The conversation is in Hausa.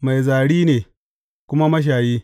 Mai zari ne, kuma mashayi.